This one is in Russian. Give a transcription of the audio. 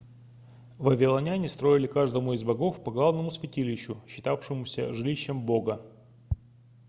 вавилоняне строили каждому из богов по главному святилищу считавшемуся жилищем бога